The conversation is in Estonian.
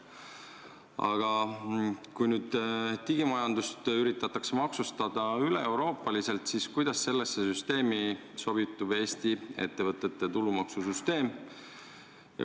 Aga kui nüüd digimajandust üritatakse maksustada üle Euroopa, siis kuidas sellesse süsteemi sobitub Eesti ettevõtete tulumaksu süsteem?